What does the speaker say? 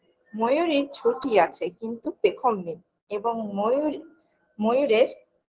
ময়ূরীর ঝুটি আছে কিন্তু পেখম নেই এবং ময়ূর ময়ূরের